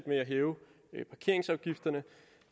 med at hæve parkeringsafgifterne